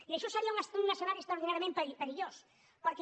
i això seria un escenari extraordinàriament perillós perquè